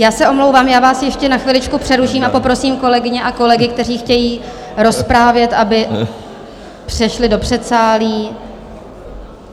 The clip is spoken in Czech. Já se omlouvám, já vás ještě na chviličku přeruším a poprosím kolegyně a kolegy, kteří chtějí rozprávět, aby přešli do předsálí.